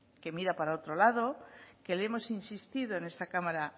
que mira para otro lado que le hemos insistido en esta cámara